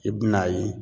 I bi n'a ye